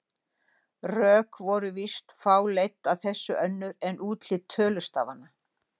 Rök voru víst fá leidd að þessu önnur en útlit tölustafanna.